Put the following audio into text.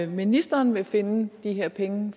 ministeren vil finde de her penge